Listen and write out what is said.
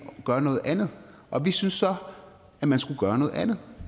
gør noget andet vi synes så at man skulle gøre noget andet